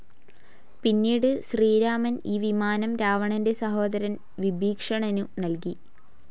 പിന്നീട് ശ്രീരാമൻ ഈ വിമാനം രാവണന്റെ സഹോദരൻ വിഭീഷണനു നൽകി.